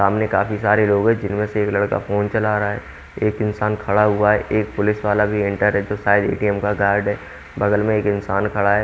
सामने काफी सारे लोग है जिनमें से एक लड़का फोन चला रहा है एक इंसान खड़ा हुआ है एक पुलिस वाला भी है इंट्रेसोसाइस ए_टी_म का है बगल में एक इंसान खड़ा है।